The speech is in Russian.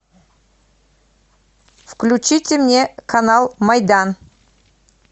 включите мне канал майдан